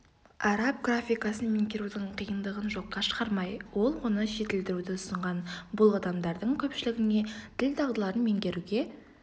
араб графикасын меңгерудің қиындығын жоққа шығармай ол оны жетілдіруді ұсынған бұл адамдардың көпшілігіне тіл дағдыларын меңгеруге